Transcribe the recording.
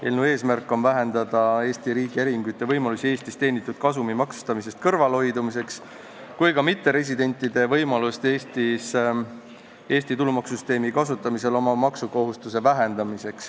Eelnõu eesmärk on vähendada nii Eesti äriühingute võimalusi Eestis teenitud kasumi maksustamisest kõrvalehoidumiseks kui ka mitteresidentide võimalusi Eesti tulumaksusüsteemi kasutamisel oma maksukohustuse vähendamiseks.